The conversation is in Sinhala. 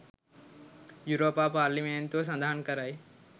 යුරෝපා පාර්ලිමේන්තුව සඳහන් කරයි